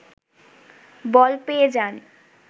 বল পেয়ে যান